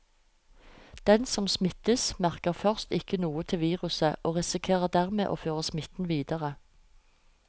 Den som smittes, merker først ikke noe til viruset og risikerer dermed å føre smitten videre.